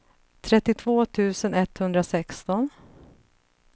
trettiotvå tusen etthundrasexton